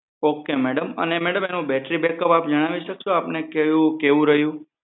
Ok madam અને madam એમાં battery backup આપ જણાવી શકશો આપને કેવું રહ્યું